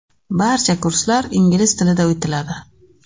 Barcha kurslar ingliz tilida o‘tiladi.